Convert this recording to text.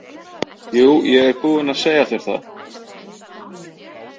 Jú, ég er búinn að segja þér það.